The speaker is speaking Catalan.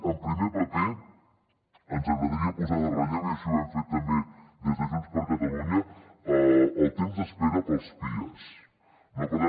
en primer paper ens agradaria posar en relleu i així ho hem fet també des de junts per catalunya el temps d’espera per als pias